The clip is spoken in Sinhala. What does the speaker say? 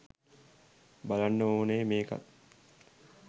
බලන්ඩ ඕනෙ මේකත්